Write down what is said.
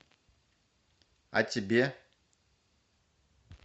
а тебе